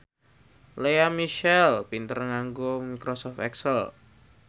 Lea Michele pinter nganggo microsoft excel